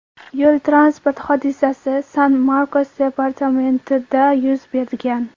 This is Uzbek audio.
Yo‘l-transport hodisasi San-Markos departamentida yuz bergan.